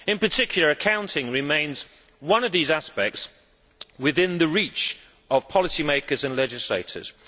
In particular, accounting remains one of these aspects within the reach of policymakers and legislators.